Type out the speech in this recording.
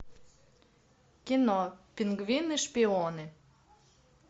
кино пингвины шпионы